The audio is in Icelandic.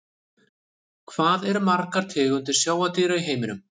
Hvað eru til margar tegundir sjávardýra í heiminum?